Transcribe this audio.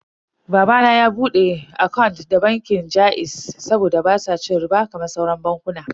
Baba na ya bude akant da bankin jaiz saboda basu cin riɓa kamar sauran bankunan.